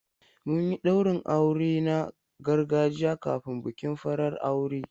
Mun yi daurin aure na gargajiya kafin bikin farar aure.